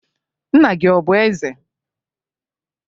Nna gị ọ bụ eze?